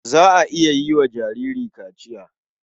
Za a iya yi wa jinjiri kaciya.